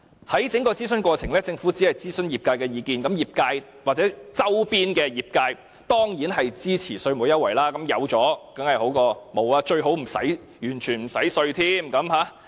在整個諮詢過程裏，政府只諮詢業界的意見，業界或周邊的業界當然支持稅務優惠，有當然較好，最好是完全不用繳稅。